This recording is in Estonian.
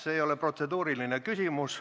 See ei ole protseduuriline küsimus.